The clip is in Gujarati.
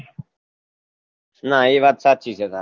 ના એ વાત સાચી છે તાર